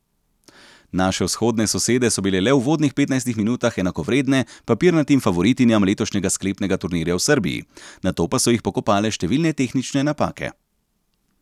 Naše vzhodne sosede so bile le v uvodnih petnajstih minutah enakovredne papirnatim favoritinjam letošnjega sklepnega turnirja v Srbiji, nato pa so jih pokopale številne tehnične napake.